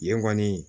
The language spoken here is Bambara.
Yen kɔni